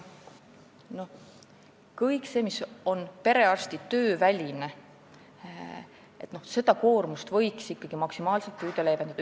Kogu seda koormust, mis on perearsti töö väline, võiks ikkagi maksimaalselt püüda leevendada.